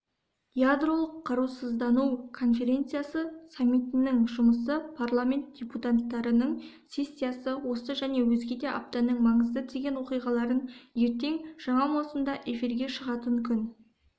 ядролық қарусыздану конференциясы саммитінің жұмысы парламент депутаттарының сессиясы осы және өзгеде аптаның маңызды деген оқиғаларын ертең жаңа маусымда эфирге шығатын күн